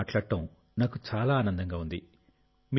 మీతో మాట్లాడటం నాకు ఆనందంగా ఉంది